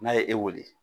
N'a ye e wele